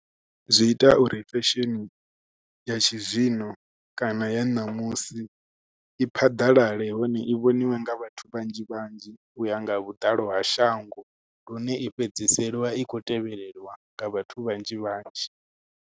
Zwi ita uri fesheni ya tshizwino kana ya ṋamusi i phaḓalale hone i vhoniwe nga vhathu vhanzhi vhanzhi, u ya nga vhuḓalo ha shango. Lune i fhedziseliwa i khou tevheliwa nga vhathu vhanzhi vhanzhi.